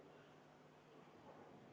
Läheme edasi muudatusettepanekute menetlemisega.